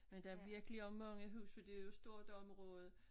Men der er virkelig også mange huse for det jo et stort område